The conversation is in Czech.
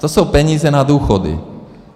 To jsou peníze na důchody.